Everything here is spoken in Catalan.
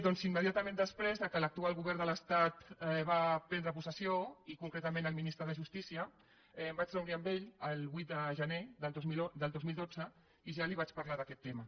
doncs immediatament després que l’actual govern de l’estat va prendre possessió i concretament el ministre de justícia em vaig reunir amb ell el vuit de gener del dos mil dotze i ja li vaig parlar d’aquest tema